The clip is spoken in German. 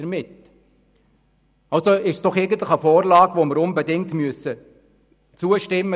Also müssen wir dieser Vorlage doch unbedingt zustimmen.